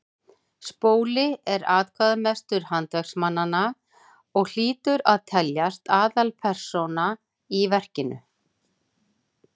spóli er atkvæðamestur handverksmannanna og hlýtur að teljast aðalpersóna í verkinu